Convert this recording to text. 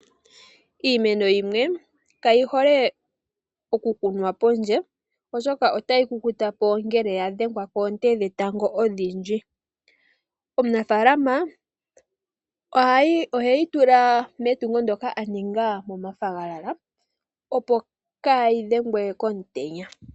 Iimeno yimwe kayi hole oku kunwa pondje oshoka otayi kukuta po ngele ya dhegwa koonte dhetango odhindji. Omunafalama oheyi tula metungo ndjoka a ninga momafagalala. Opo kaayi dhengwe komutenya.